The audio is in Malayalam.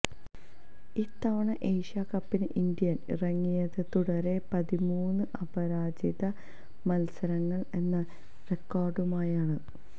ഇത്തവണ ഏഷ്യാ കപ്പിന് ഇന്ത്യ ഇറങ്ങിയത് തുടരെ പതിമൂന്ന് അപരാജിത മത്സരങ്ങള് എന്ന റെക്കോര്ഡുമായാണ്